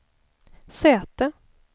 säte